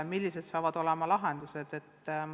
Millised saavad olema lahendused?